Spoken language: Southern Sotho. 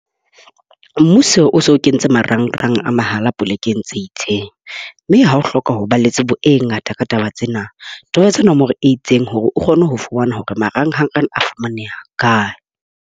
Mmuso o so kentse marangrang a mahala polekeng tse itseng, mme ha o hloka ho ba le tsebo e ngata ka taba tsena, tobetsa nomoro e itseng hore o kgone ho fumana hore marangrang ana a fumaneha kae.